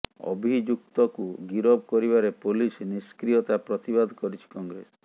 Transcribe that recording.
ଅଭିଯୁକ୍ତକୁ ଗିରଫ କରିବାରେ ପୋଲିସ ନିଷ୍କ୍ରିୟତା ପ୍ରତିବାଦ କରିଛି କଂଗ୍ରେସ